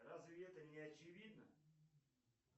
разве это не очевидно